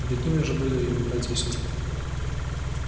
и такими же были его братья и сестры